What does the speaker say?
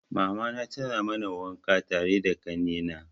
Mamana tana mana wanka tare da kanne na.